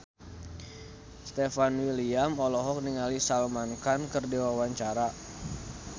Stefan William olohok ningali Salman Khan keur diwawancara